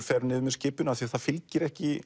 fer niður með skipinu af því það fylgir ekki